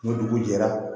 Ni dugu jɛra